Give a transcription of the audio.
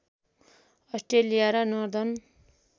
Australia र northern